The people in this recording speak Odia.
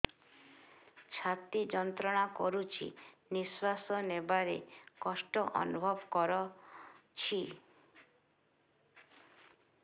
ଛାତି ଯନ୍ତ୍ରଣା କରୁଛି ନିଶ୍ୱାସ ନେବାରେ କଷ୍ଟ ଅନୁଭବ କରୁଛି